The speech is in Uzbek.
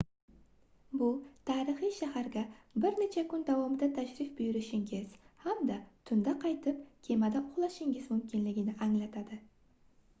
bu tarixiy shaharga bir necha kun davomida tashrif buyurishingiz hamda tunda qaytib kemada uxlashingiz mumkinligini anglatadi